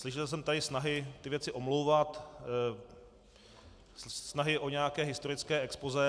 Slyšel jsem tady snahy ty věci omlouvat, snahy o nějaké historické expozé.